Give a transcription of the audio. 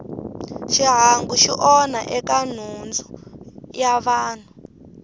xihangu xi onha eka nhundzu ya vanhu